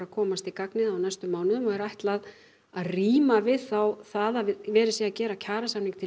komast í gagnið á næstu mánuðum og er ætlað að ríma við það að verið sé að gera samning til